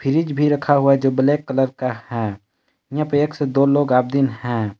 Fridge भी रखा हुआ है जो ब्लैक कलर का है यहाँ पे एक से दो लोग आपदिन है।